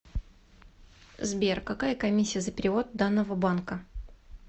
сбер какая комиссия за перевод данного банка